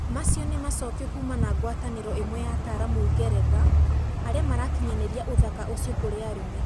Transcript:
Macio ni macokio kuuma na guataniro imwe ya ataramu Ngeretha aria marakinyaniria uthaka ucio kũri arũme.